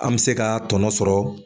An bɛ se ka tɔnɔ sɔrɔ.